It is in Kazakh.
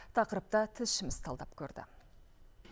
тақырыпты тілшіміз талдап көрді